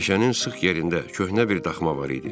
Meşənin sıx yerində köhnə bir daxma var idi.